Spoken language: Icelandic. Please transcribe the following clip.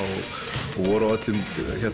og voru á öllum